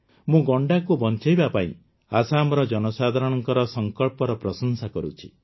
ମୁଁ ଗଣ୍ଡାକୁ ବଂଚାଇବା ପାଇଁ ଆସାମର ଜନସାଧାରଣଙ୍କ ସଙ୍କଳ୍ପର ପ୍ରଶଂସା କରୁଛି